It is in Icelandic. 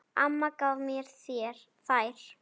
Amma gaf mér þær.